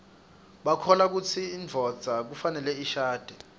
bakholwakutsi induodza kufaneleishadze